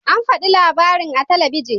An faɗi labarin a talabijin.